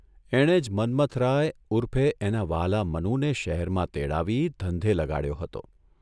એણે જ મન્મથરાય ઊર્ફે એના વ્હાલા મનુને શહેરમાં તેડાવી ધંધે લગાડ્યો હતો.